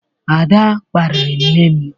Ada kparịrị nne m.